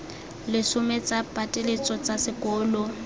lesome tsa pateletso tsa sekolo